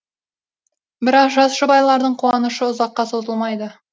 бірақ жас жұбайлардың қуанышы ұзаққа созылмайды